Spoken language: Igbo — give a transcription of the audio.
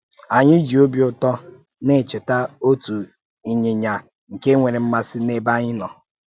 Anyị jì ọ́bì ụ̀tọ́ na-echeta òtù ìnyị̀nyà nke nwèrè m̀màsị n’èbé anyị nọ.